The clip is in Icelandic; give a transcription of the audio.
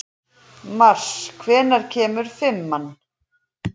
Mars, hvenær kemur fimman?